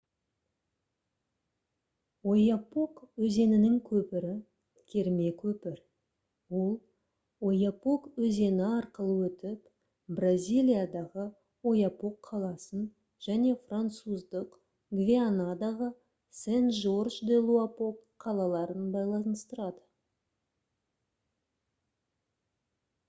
ойапок өзенінің көпірі керме көпір ол ойапок өзені арқылы өтіп бразилиядағы ойапок қаласын және француздық гвианадағы сен-жорж-де-луапок қалаларын байланыстырады